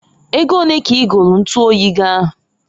Ego onee ka i golu ntuoyi gi ahụ?